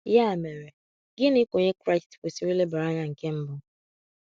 Ya mere, gịnị ka onye Kraịst kwesịrị ilebara anya nke mbụ?